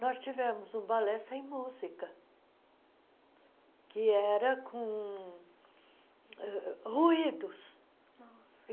Nós tivemos um balé sem música, que era com uh ruídos.